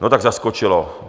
No tak, zaskočilo.